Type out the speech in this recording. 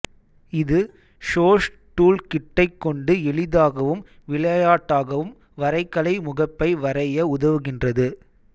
இது ஷோஸ் டூல்கிட்டைக் கொண்டு எளிதாகவும் விளையாட்டாகவும் வரைகலை முகப்பை வரைய உதவுகின்றது